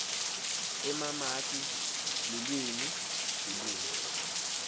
emamaki lulwimi lulwimi